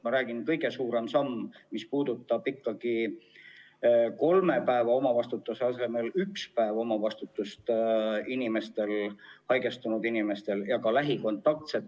Ma räägin, et kõige suurem samm on see, mis puudutab kolme päeva omavastutuse asemel ühte päeva omavastutust nii haigestunud inimeste kui ka lähikontaktsete puhul.